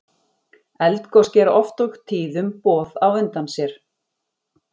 Eldgos gera oft og tíðum boð á undan sér.